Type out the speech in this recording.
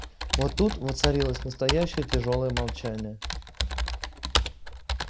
вот тут воцарилось настоящее тяжёлое молчание